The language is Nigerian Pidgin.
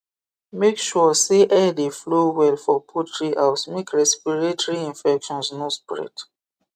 make sure say air dey flow well for poultry house make respiratory infections no spread